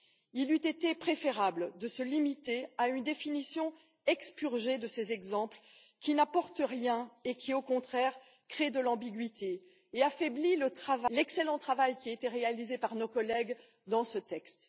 Il eût été préférable de se limiter à une définition expurgée de ces exemples, qui n'apportent rien et qui, au contraire, créent de l'ambiguïté et affaiblissent l'excellent travail qui a été réalisé par nos collègues dans ce texte.